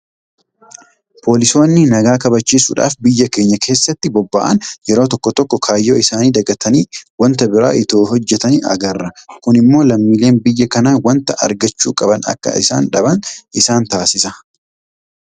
Poolisoonni nagaa kabachiisuudhaaf biyya keenya keessatti bobba'an Yeroo tokko tokko kaayyoo isaanii dagatanii waanta biraa itoo hojjetanii agarra. Kun immoo lammiileen biyya kanaa waanta argachuu qaban akka isaan dhaban taasisaa jira.